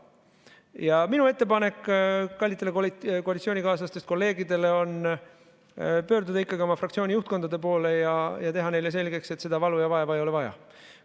Ja minu ettepanek kallitele koalitsioonikaaslastest kolleegidele on pöörduda ikkagi oma fraktsiooni juhtkonna poole ja teha neile selgeks, et seda valu ja vaeva ei ole vaja.